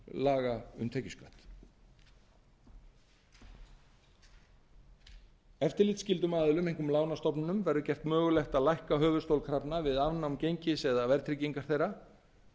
laga um tekjuskatt eftirlitsskyldum aðilum einkum lánastofnunum verður gert mögulegt að lækka höfuðstól krafna við afnám gengis eða verðtryggingar þeirra